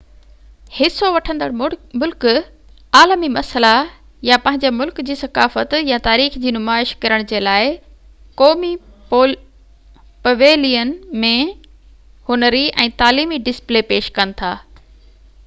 حصو وٺندڙ ملڪ عالمي مسئلا يا پنهنجي ملڪ جي ثقافت يا تاريخ جي نمائش ڪرڻ جي لاءِ قومي پويلين ۾ هنري ۽ تعليمي ڊسپلي پيش ڪن ٿا